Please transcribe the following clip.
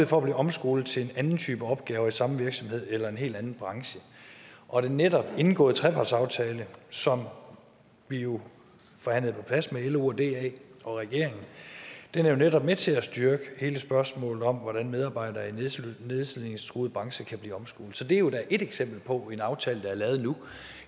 for at blive omskolet til en anden type opgaver i samme virksomhed eller i en helt anden branche og den netop indgåede trepartsaftale som vi jo forhandlede på plads med lo og da og regeringen er jo netop med til at styrke hele spørgsmålet om hvordan medarbejdere i nedslidningstruede brancher kan blive omskolet så det er jo da et eksempel på en aftale der er lavet nu